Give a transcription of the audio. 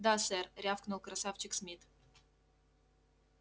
да сэр рявкнул красавчик смит